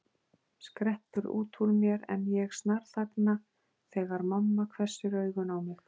skreppur út úr mér en ég snarþagna þegar mamma hvessir augun á mig.